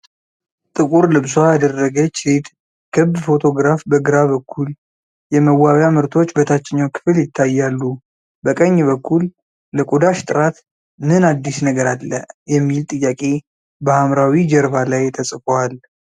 ጥቁር ልብሷ ያደረገች ሴት ክብ ፎቶግራፍ በግራ በኩል፣ የመዋቢያ ምርቶች በታችኛው ክፍል ይታያሉ። በቀኝ በኩል " ለቆዳሽ ጥራት ምን አዲስ ነገር አለ?" የሚል ጥያቄ በሐምራዊ ጀርባ ላይ ተጽፏል።